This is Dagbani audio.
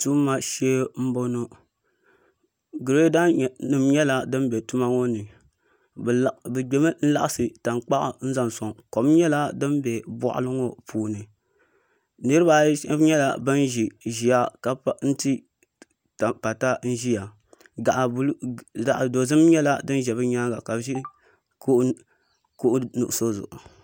Tuma shee n boŋo nyɛla din bɛ tuma ŋo ni bi gbimi n laɣasi tankpaɣu niŋdi zaʋ soŋ kom nyɛla din bɛ boɣali ŋo puuni nirabaayi shab nyɛla bin ʒiya ka ti pata ʒiya gaɣa dozim nyɛla din ʒɛ bi nyaanga ka bi ʒi kuɣu nuɣso zuɣu